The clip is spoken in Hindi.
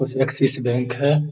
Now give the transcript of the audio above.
ऐक्सिस बैंक है।